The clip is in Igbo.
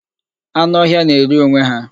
Anụ ọhịa na-eri onwe ha.